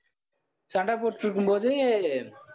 சண்டை போட்டுட்டு இருக்கும்போது